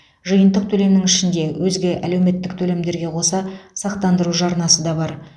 жиынтық төлемнің ішінде өзге әлеуметтік төлемдерге қоса сақтандыру жарнасы да бар